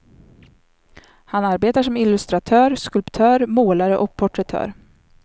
Han arbetar som illustratör, skulptör, målare och porträttör.